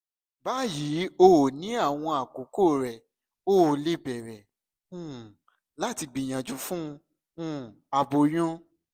bayi o ni awọn akoko rẹ o le bẹrẹ um lati gbiyanju fun um aboyun